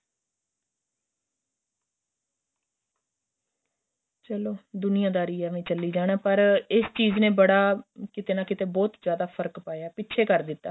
ਚਲੋਂ ਦੁਨੀਆਂਦਾਰੀ ਇਵੇਂ ਚੱਲੀ ਜਾਣਾ ਪਰ ਏਸ ਚੀਜ ਨੇ ਬੜਾ ਕਿਥੇ ਨਾ ਕਿਥੇ ਬਹੁਤ ਜਿਆਦਾ ਫ਼ਰਕ ਪਾਇਆ ਏ ਪਿਛੇ ਕਰ ਦਿੱਤਾ